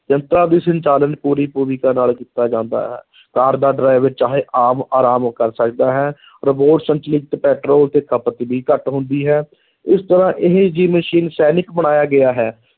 ਯੰਤਰਾਂ ਦੀ ਸੰਚਾਲਨ ਪੂਰੀ ਨਾਲ ਕੀਤਾ ਜਾਂਦਾ ਹੈ ਕਾਰ ਦਾ driver ਚਾਹੇ ਆਮ ਅਰਾਮ ਕਰ ਸਕਦਾ ਹੈ robot ਸੰਚਲਿਤ ਪੈਟਰੋਲ ਅਤੇ ਖਪਤ ਵੀ ਘੱਟ ਹੁੰਦੀ ਹੈ, ਇਸ ਤਰ੍ਹਾਂ ਇਹ ਜਿਹੀ ਮਸ਼ੀਨ ਸੈਨਿਕ ਬਣਾਇਆ ਗਿਆ ਹੈ,